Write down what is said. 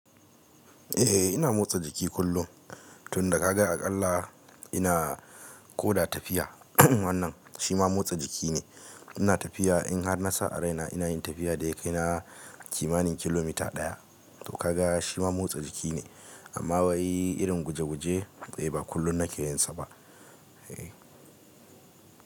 Eh ina motsa jiki kullum tunda kaga akalla ina koda tafiya wannan shima motsa jiki ne ina tafiya in har na sa a raina ina yin tafiya da ya kai na kimanin kilomita ɗaya. To ka ga shima motsa jiki ne amma wai irin guje guje eh ba kullum na ke yinsa ba.